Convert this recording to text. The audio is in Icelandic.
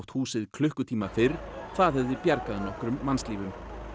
húsið klukkutíma fyrr það hefði bjargað nokkrum mannslífum